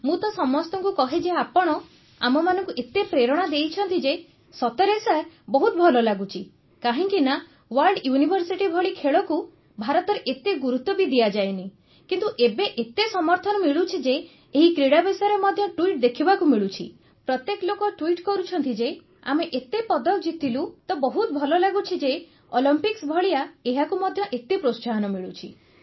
ମୁଁ ତ ସମସ୍ତଙ୍କୁ କହେ ଯେ ଆପଣ ଆମମାନଙ୍କୁ ଏତେ ପ୍ରେରଣା ଦିଅନ୍ତି ଯେ ସତରେ ସାର୍ ବହୁତ ଭଲ ଲାଗୁଛି କାହିଁକିନା ୱାର୍ଲଡ ୟୁନିଭର୍ସିଟି ଭଳି ଖେଳକୁ ଭାରତରେ ଏତେ ଗୁରୁତ୍ୱ ବି ଦିଆଯାଏନି କିନ୍ତୁ ଏବେ ଏତେ ସମର୍ଥନ ମିଳୁଛି ଯେ ଏହି କ୍ରୀଡ଼ା ବିଷୟରେ ମଧ୍ୟ ଟ୍ୱିଟ୍ ଦେଖିବାକୁ ମିଳୁଛି ପ୍ରତ୍ୟେକ ଲୋକ ଟ୍ୱିଟ୍ କରୁଛନ୍ତି ଯେ ଆମେ ଏତେ ପଦକ ଜିତିଲୁ ତ ବହୁତ ଭଲ ଲାଗୁଛି ଯେ ଅଲିମ୍ପିକ୍ସ ଭଳିଆ ଏହାକୁ ମଧ୍ୟ ଏତେ ପ୍ରୋତ୍ସାହନ ମିଳୁଛି